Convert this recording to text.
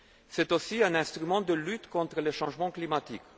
C'est aussi un instrument de lutte contre le changement climatique.